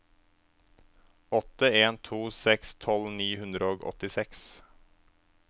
åtte en to seks tolv ni hundre og åttiseks